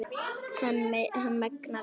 Hann megnar allt.